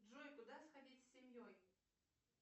джой куда сходить с семьей